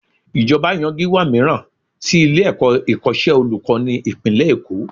Ìjọba yan Gíwá mìíràn sí ilé-ẹ̀kọ́ ìkọ́ṣẹ́ olùkọ́ni ìpínlẹ̀ Èkó